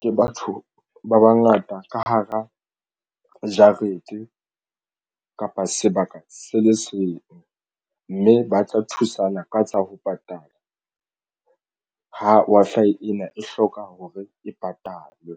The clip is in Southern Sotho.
ke batho ba bangata ka hara jarete enta kapa sebaka se le seng mme ba tla thusana ka tsa ho patala. Ha Wi-Fi ena e hloka hore e patalwe.